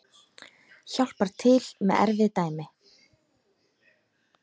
Hjálpar til með erfið dæmi.